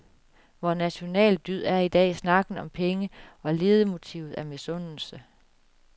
Vor national dyd er i dag snakken om penge, og ledemotivet er misundelse.